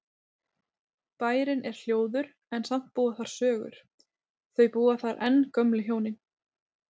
Bærinn er hljóður en samt búa þar sögur, þau búa þar enn gömlu hjónin.